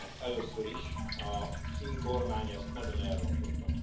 Először is, a finn kormány ezt nagyon elrontotta.